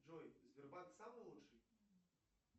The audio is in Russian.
джой сбербанк самый лучший